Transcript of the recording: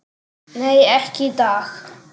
Nei, ekki í dag.